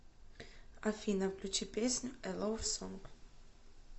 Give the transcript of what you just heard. афина включи песню э лов сонг